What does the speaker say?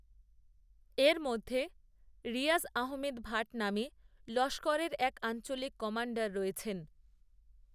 এর মধ্যেরিয়াজআহমেদ ভাট নামেলস্করেরএকআঞ্চলিক কমাণ্ডার রয়েছেন